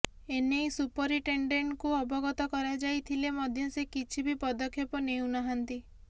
ଏନେଇ ସୁପରିନ୍ଟେଣ୍ଡେଣ୍ଟଙ୍କୁ ଅବଗତ କରାଯାଇଥିଲେ ମଧ୍ୟ ସେ କିଛି ବି ପଦକ୍ଷେପ ନେଉନାହାନ୍ତି